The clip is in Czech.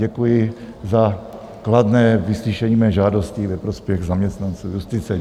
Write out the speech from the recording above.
Děkuji za kladné vyslyšení mé žádosti ve prospěch zaměstnanců justice.